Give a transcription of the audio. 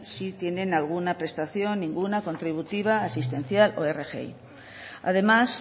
si tienen alguna prestación ninguna contributiva asistencial o rgi además